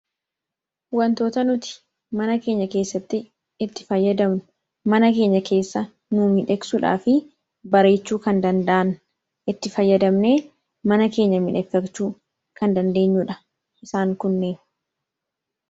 Wantoota nuti mana keenya keessatti itti fayyadamnu ,mana keenya keessa nuu miidhagsuudhaa fi bareechuu kan danda'an ,itti fayyadamne mana keenya miidhagfachuu kan dandeenyuudha.